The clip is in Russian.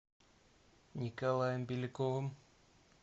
николаем беляковым